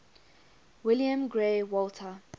william grey walter